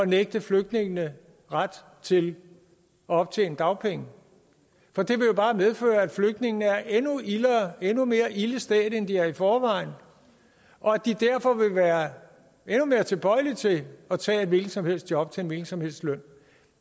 nægte flygtningene ret til at optjene dagpenge for det vil jo bare medføre at flygtningene er endnu mere ilde stedt end de er i forvejen og at de derfor vil være endnu mere tilbøjelige til at tage et hvilket som helst et job til en hvilken som helst løn